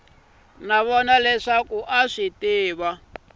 no vona leswaku a a